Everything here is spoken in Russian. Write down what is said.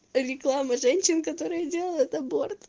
реклама женщин которые делают аборт